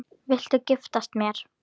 Viltu giftast mér?